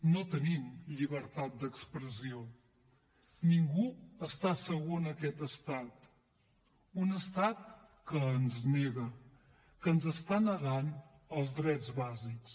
no tenim llibertat d’expressió ningú està segur en aquest estat un estat que ens nega que ens està negant els drets bàsics